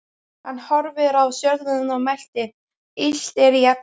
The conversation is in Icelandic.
Hann horfði á stjörnurnar og mælti: Illt er í efni.